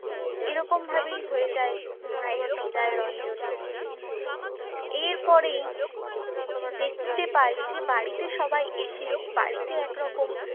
এরকম ভাবেই হয়ে যায় মায়ের বিদায়রঞ্জন। এর পরেই দেখতে পাই যে বাড়িতে সবাই এসে, বাড়িতে একরকম